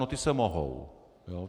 No ta se mohou.